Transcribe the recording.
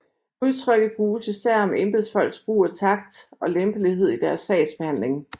Udtrykket bruges især om embedsfolks brug af takt og lempelighed i deres sagsbehandling